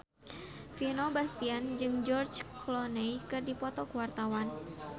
Vino Bastian jeung George Clooney keur dipoto ku wartawan